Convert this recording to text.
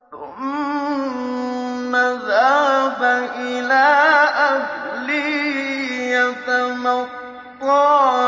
ثُمَّ ذَهَبَ إِلَىٰ أَهْلِهِ يَتَمَطَّىٰ